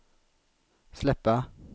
släppa